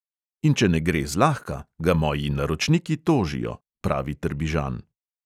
In če ne gre zlahka, ga moji naročniki tožijo, pravi trbižan.